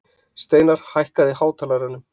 Steinarr, hækkaðu í hátalaranum.